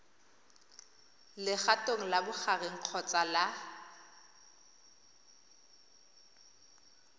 legatong la bogareng kgotsa la